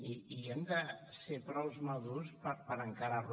i hem de ser prou madurs per encarar lo